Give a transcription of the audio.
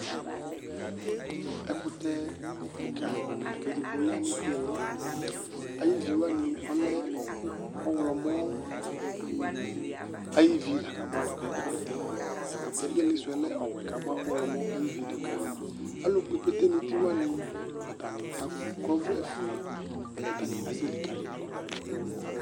Ɛkʋtɛ kika lakʋ edigbo yanʋ iili ayʋ iviwani ɔlɛ ɔwlɔmɔ, ayʋ ivi lakʋ abʋadʋ kʋ ɛkʋtɛ Ɛdkʋtɛ iilisʋ yɛ lɛ ɔwɛ kʋ abʋa ɔwlɔmɔ ayʋ ivi dʋka, alʋkpɔ ikpete nʋ uti wani ɔtani akɔ ɔvlɛfue kʋ ɔtani asɛlikali ɛkʋtɛ yɛ dʋ